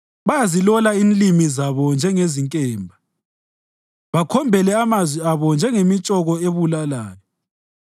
Bayazilola inlimi zabo njengezinkemba bakhombele amazwi abo njengemitshoko ebulalayo.